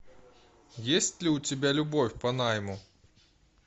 есть ли у тебя любовь по найму